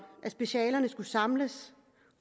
at specialerne skulle samles